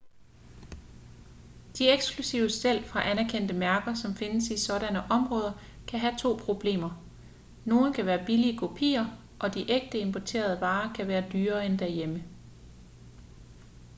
de eksklusive stel fra anerkendte mærker som findes i sådanne områder kan have to problemer nogle kan være billige kopier og de ægte importerede varer kan være dyrere end derhjemme